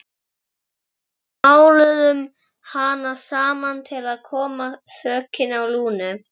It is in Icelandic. Við máluðum hana saman til að koma sökinni á Lúnu.